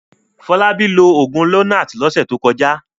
Fọlábí lo òògùn Lonart lọ́sẹ̀ tó kọjá.